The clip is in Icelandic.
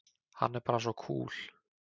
Hann er bara svo kúl!